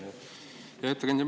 Hea ettekandja!